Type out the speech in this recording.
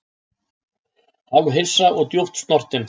Hálfhissa og djúpt snortinn